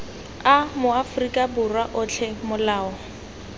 a maaforika borwa otlhe molao